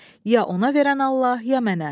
Ya ona verən Allah, ya mənə.